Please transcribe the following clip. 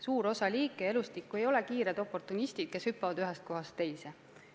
Suur osa liike ja elustikku ei ole kiired oportunistid, kes hüppavad ühest kohast teise.